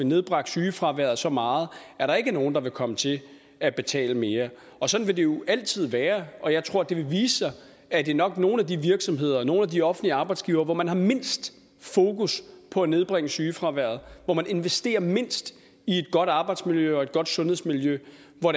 nedbragt sygefraværet så meget at der ikke er nogen der vil komme til at betale mere sådan vil det jo altid være og jeg tror at det vil vise sig at det nok nogle af de virksomheder og hos nogle af de offentlige arbejdsgivere hvor man har mindst fokus på at nedbringe sygefraværet og hvor man investerer mindst i et godt arbejdsmiljø og et godt sundhedsmiljø hvor